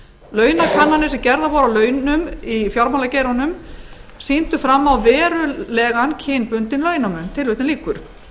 launakannanir sem gerðar voru á launum í fjármálageiranum sýndu fram verulegan kynbundinn launamun tilvitnun lýkur